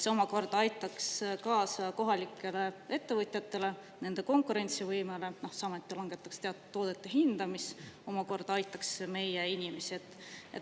See omakorda aitaks kaasa kohalikele ettevõtjatele, nende konkurentsivõimele, samuti langetataks teatud toodete hinda, mis omakorda aitaks meie inimesi.